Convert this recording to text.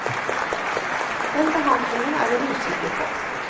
Den behandlingen er hun usikker på.